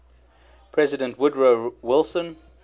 president woodrow wilson